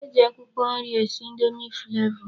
E ji akwụkwọ nri esi indomi flavọ.